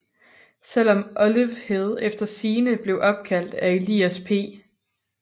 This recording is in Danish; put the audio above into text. Selv om Olive Hill efter sigende blev opkaldt af Elias P